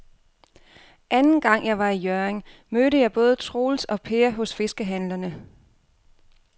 Anden gang jeg var i Hjørring, mødte jeg både Troels og Per hos fiskehandlerne.